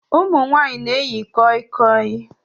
Ụmụ nwanyị na-eyi koi koi